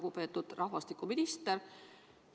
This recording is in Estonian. Lugupeetud rahvastikuminister!